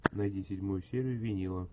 найди седьмую серию винила